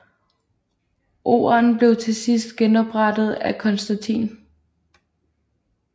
Orden blev til sidst genoprettet af Konstantin